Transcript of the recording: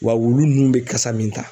Wa wulu nun bɛ kasa min ta